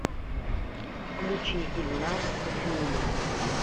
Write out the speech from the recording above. включи ильназ сафиуллин